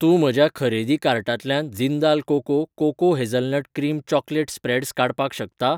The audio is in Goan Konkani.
तूं म्हज्या खरेदी कार्टांतल्यान Jindal cocoa cocoa hazelnut cream chocolate spreads काडपाक शकता?